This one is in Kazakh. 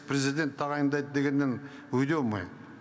президент тағайындайды дегеннен уйдем мы